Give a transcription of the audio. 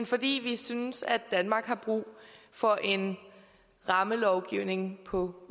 fordi vi synes at danmark har brug for en rammelovgivning på